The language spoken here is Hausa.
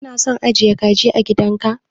Kana son ajiye kaji a gidan ka